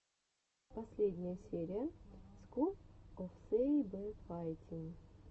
последняя серия скул оф сэйбэфайтин